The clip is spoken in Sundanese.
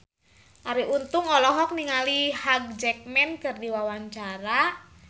Arie Untung olohok ningali Hugh Jackman keur diwawancara